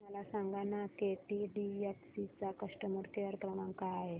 मला सांगाना केटीडीएफसी चा कस्टमर केअर क्रमांक काय आहे